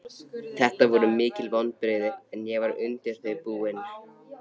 Þetta voru mikil vonbrigði en ég var undir þau búinn.